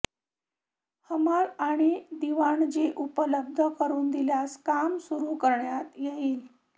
हमाल आणि दिवाणजी उपलब्ध करून दिल्यास काम सुरू करण्यात येईल